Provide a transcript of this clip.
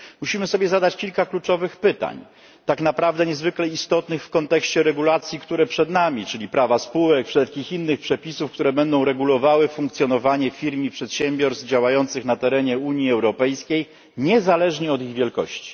Musimy sobie zadać kilka kluczowych pytań, tak naprawdę niezwykle istotnych w kontekście regulacji, które przed nami, czyli prawa spółek, wszelkich innych przepisów, które będą regulowały funkcjonowanie firm i przedsiębiorstw działających na terenie Unii Europejskiej niezależnie od ich wielkości.